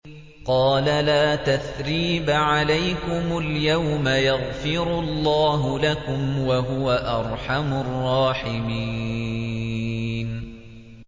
قَالَ لَا تَثْرِيبَ عَلَيْكُمُ الْيَوْمَ ۖ يَغْفِرُ اللَّهُ لَكُمْ ۖ وَهُوَ أَرْحَمُ الرَّاحِمِينَ